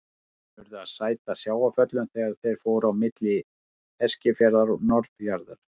Menn urðu að sæta sjávarföllum þegar þeir fóru á milli Eskifjarðar og Norðfjarðar.